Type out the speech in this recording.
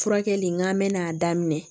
Furakɛli n k'an mɛna'a daminɛ